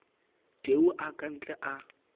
tau a ka ntle a